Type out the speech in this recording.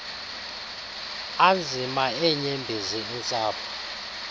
anzima eenyembezi intsapho